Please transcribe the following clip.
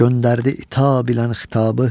Göndərdi itab ilə xitabı.